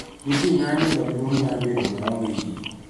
Nitie ng�anjo maduong� mar bedo maonge yie